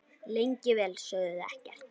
Lengi vel sögðu þau ekkert.